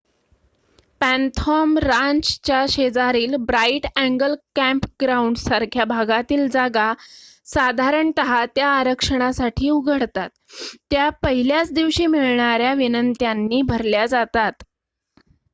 Phantom रांचच्या शेजारील Bright Angel कॅम्पग्राउंडसारख्या भागातील जागा साधारणत त्या आरक्षणासाठी उघडतात त्या पहिल्या दिवशीच मिळणाऱ्या विनंत्यांनी भरल्या जातात